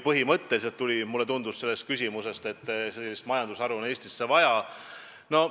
Vähemalt mulle tundus selle küsimuse põhjal, et teie arvates on sellist majandusharu Eestis vaja.